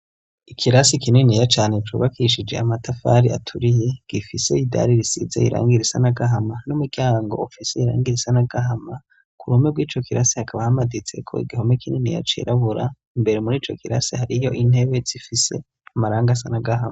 Ikirasi kinini yacane cubakishije amatafari aturiye gifise idari risize irangiri risana gahama m'uryahango ufis'irangiri risa n'agahama k'uruhome bw'ico kirasi hakaba hamaditseko igihome kininiya cirabura, imbere murico kirasi hariyo intebe zifise amarangi ana n'agahama.